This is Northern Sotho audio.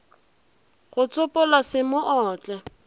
go tsopola se mo otle